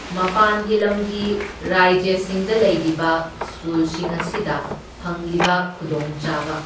ꯃꯄꯥꯟꯒꯤ ꯂꯝꯒꯤ ꯔꯥꯏꯖ꯭ꯌꯁꯤꯡꯗ ꯂꯩꯔꯤꯕ ꯁ꯭ꯀꯨꯜꯁꯤꯡ ꯑꯁꯤꯗ ꯐꯪꯂꯤꯕ ꯈꯨꯗꯣꯡꯆꯥꯕ꯫